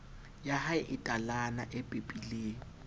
yahae e talana e pepileng